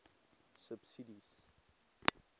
subsidies